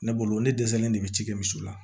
Ne bolo ne dɛsɛlen de bɛ ci kɛ misiw la